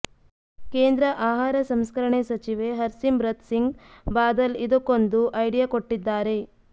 ಕೇಂದ್ರ ಆಹಾರ ಸಂಸ್ಕರಣೆ ಸಚಿವೆ ಹರ್ಸಿಮ್ರತ್ ಸಿಂಗ್ ಬಾದಲ್ ಇದಕ್ಕೊಂದು ಐಡಿಯಾ ಕೊಟ್ಟಿದ್ದಾರೆ